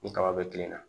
Ni kaba be kilenna